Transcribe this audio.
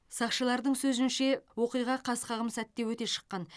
сақшылардың сөзінше оқиға қас қағым сәтте өте шыққан